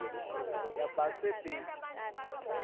yabasebenti